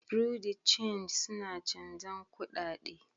Bureau de change suna chanzan kudade.